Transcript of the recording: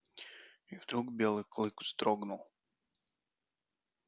и вдруг белый клык вздрогнул